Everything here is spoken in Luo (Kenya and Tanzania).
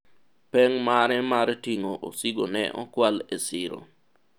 peng' mare mar ting'o osigo ne okwal e siro